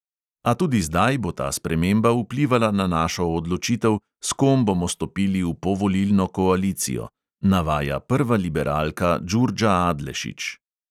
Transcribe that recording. "A tudi zdaj bo ta sprememba vplivala na našo odločitev, s kom bomo stopili v povolilno koalicijo," navaja prva liberalka džurdža adlešić.